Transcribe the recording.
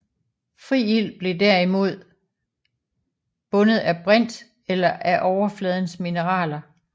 Fri ilt blev derimod bundet af brint eller af overfladens mineraler